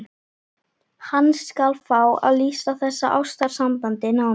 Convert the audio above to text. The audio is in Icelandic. Hann skal fá að lýsa þessu ástarsambandi nánar.